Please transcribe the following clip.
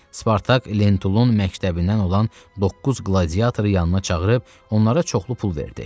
Spartak Lentulun məktəbindən olan doqquz qladiatoru yanına çağırıb onlara çoxlu pul verdi.